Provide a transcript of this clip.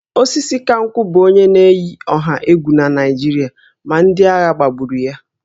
Osisikankwu bụ onye na-eyi ọha egwu na Naịjirịa ma ndị agha gbagburu ya